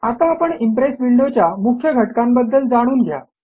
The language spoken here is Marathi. आता आपण इम्प्रेस विंडोच्या मुख्य घटकांबद्दल जाणून घ्या